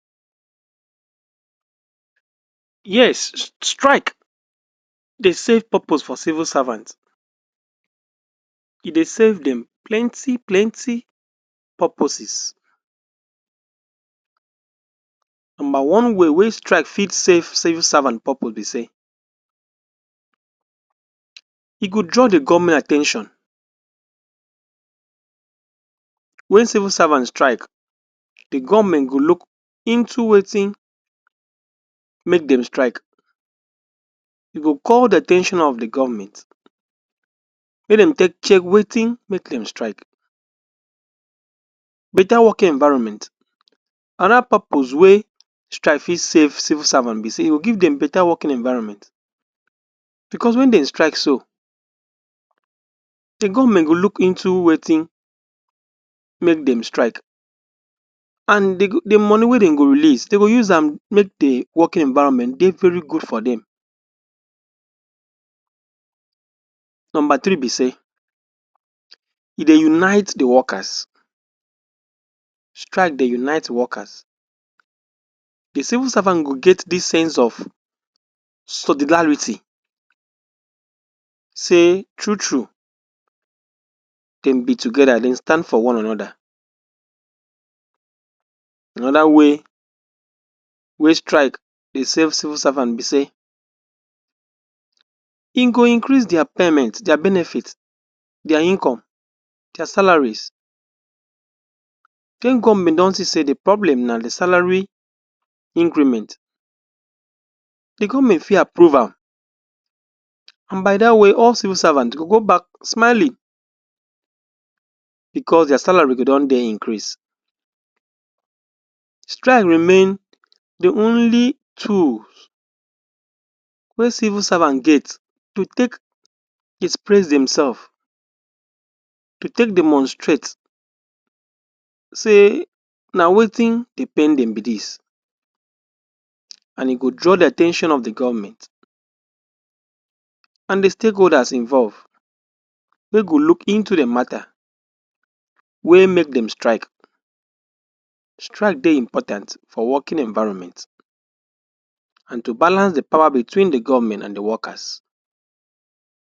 Yes, strike dey serve purpose for civil servants. E dey serve dem plenty plenty purposes. Number one way wey strike fit serve civil servants purpose be say, e go draw di govment at ten tion. Wen civil servant strike, di govment go look into wetin make dem strike, e go call di at ten tion of di govment make dem take check wetin make dem strike. Betta working environment. Anoda purpose wey strike fit serve civil servant be say, e go give dem betta working environment bicos wen dem strike so, di govment go look into wetin make dem strike and di money wey dem go release, dem go use am make di working environment dey very good for dem. Number three be say, e dey unite di workers. Strike dey unite workers. Di civil servant go get dis sense of solidarity say true true dem be togeda, dem stand for one anoda. Anoda way wey strike dem serve civil servant be say, e go increase dia payments. Dia benefits, dia income, dia salaries. If govment see say dia problems na di salary increment di govment fit approve am and by dat way all civil servant go go back smiling bicos dia salaries go don dey increase. Strike remain, di only tools wey civil servant get to take express dem sefs, to take demonstrate say na wetin dey pain dem be dis and e go draw di at ten tion of di govment and di stake holders involved wey go look into di matta wey make dem strike. Strike dey important for working environment and to balance di power between di govment and workers.